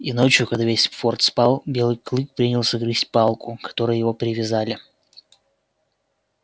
и ночью когда весь форт спал белый клык принялся грызть палку к которой его привязали